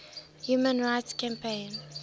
human rights campaign